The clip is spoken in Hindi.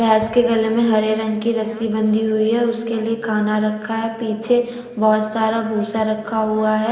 भैंस के गले में हरे रंग की रस्सी बंधी हुई है उसके लिए खाना रखा है पीछे बहुत सारा भूसा रखा हुआ है।